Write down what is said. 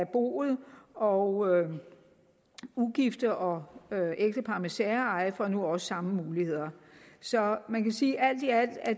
boet og ugifte og ægtepar med særeje får nu også samme muligheder så man kan sige at